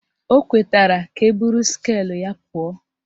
O kwetara ka eburu skeelụ ya pụọ